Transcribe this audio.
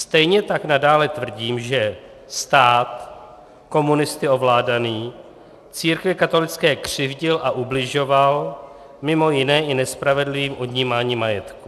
Stejně tak nadále tvrdím, že stát komunisty ovládaný církvi katolické křivdil a ubližoval, mimo jiné i nespravedlivým odnímáním majetku.